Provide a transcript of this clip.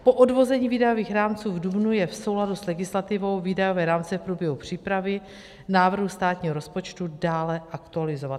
Po odvození výdajových rámců v dubnu je v souladu s legislativou výdajové rámce v průběhu přípravy návrhu státního rozpočtu dále aktualizovat.